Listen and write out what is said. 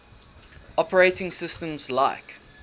operating systems like